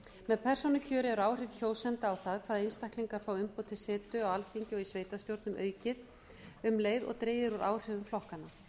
með persónukjöri er áhrif kjósenda á það hvaða einstaklingar fá umboð til setu á alþingi og í sveitarstjórnum aukið um leið og dregið er úr áhrifum flokkanna